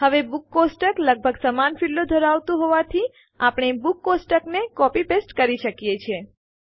હવે books table લગભગ સમાન ફીલ્ડો ક્ષેત્રો ધરાવતું હોવાથી આપણે બુક્સ ટેબલને કોપી પેસ્ટ કરી શકીએ છીએ